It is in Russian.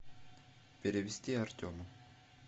перевести артему